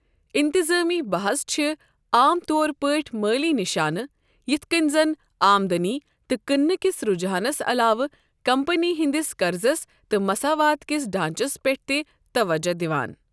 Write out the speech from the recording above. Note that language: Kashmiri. انتظٲمی بحژ چھِ عام طور پٲٹھۍ مٲلی نِشانہٕ یتھ کٔنۍ زَن آمدنی تہٕ کٕننہ کِس رُجحانَس علاوٕ کمپنی ہنٛدِس قَرضس تہٕ مساوات کِس ڈانٛچس پٮ۪ٹھ تہِ توجہ دِوان۔